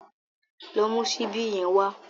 Lọ mú ṣíbí yẹn wá.